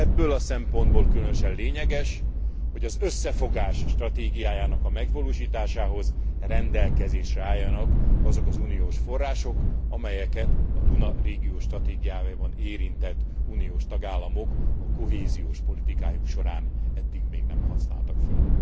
Ebből a szempontból különösen lényeges, hogy az összefogás stratégiájának a megvalósításához rendelkezésre álljanak azok az uniós források, amelyeket a Duna régió stratégiájában érintett uniós tagállamok a kohéziós politikájuk során eddig még nem használtak föl.